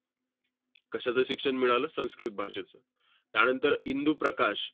कशाचं शिक्षण मिळालं? संस्कृत भाषेचं. त्यानंतर इंदू प्रकाश.